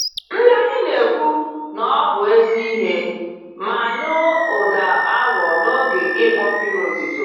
Ndị anyị na-ekwu, nọbụ ezi ìhè, ma anụ ụda awọ n'oge ịkpọ mmiri ozuzo